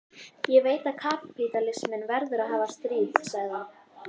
Ég veit að kapítalisminn verður að hafa stríð, sagði hann.